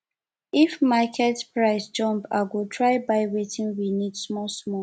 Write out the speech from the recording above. if market price jump i go try buy wetin we need smallsmall